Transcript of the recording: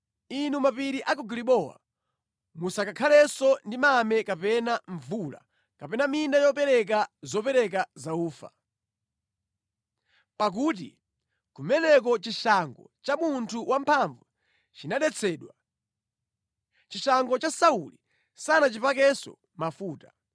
“Inu mapiri a ku Gilibowa, musakhalenso ndi mame kapena mvula, kapena minda yobereka zopereka za ufa. Pakuti kumeneko chishango cha munthu wamphamvu chinadetsedwa, chishango cha Sauli sanachipakenso mafuta.